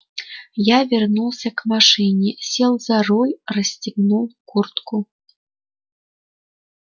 я вернулся к машине сел за руль расстегнул куртку